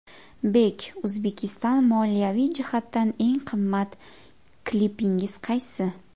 Bek Uzbekistan Moliyaviy jihatdan eng qimmat klipingiz qaysi?